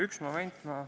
Üks moment, ma ...